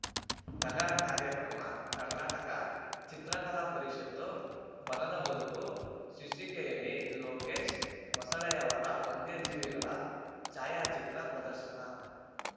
ನಗರ ಕಾರ್ಯಕ್ರಮ ಕರ್ನಾಟಕ ಚಿತ್ರಕಲಾ ಪರಿಷತ್ತು ಬನದ ಬದುಕು ಶೀರ್ಷಿಕೆಯಲ್ಲಿ ಲೋಕೇಶ್‌ ಮೊಸಳೆಯವರ ವನ್ಯಜೀವಿಗಳ ಛಾಯಾಚಿತ್ರ ಪ್ರದರ್ಶನ